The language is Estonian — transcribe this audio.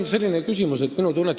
Teate, minu tunnetus on üks asi.